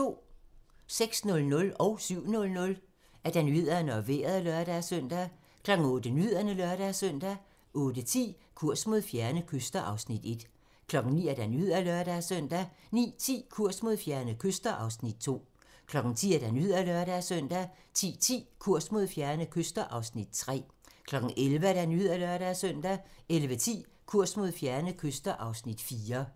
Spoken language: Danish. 06:00: Nyhederne og Vejret (lør-søn) 07:00: Nyhederne og Vejret (lør-søn) 08:00: Nyhederne (lør-søn) 08:10: Kurs mod fjerne kyster (Afs. 1) 09:00: Nyhederne (lør-søn) 09:10: Kurs mod fjerne kyster (Afs. 2) 10:00: Nyhederne (lør-søn) 10:10: Kurs mod fjerne kyster (Afs. 3) 11:00: Nyhederne (lør-søn) 11:10: Kurs mod fjerne kyster (Afs. 4)